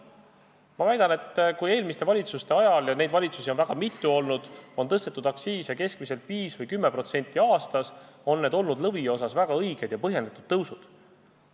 Ma väidan, et kui eelmiste valitsuste ajal – ja neid on olnud väga mitu – on tõstetud aktsiise keskmiselt 5% või 10% aastas, on need olnud lõviosas väga õiged ja põhjendatud tõusud.